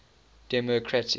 democratic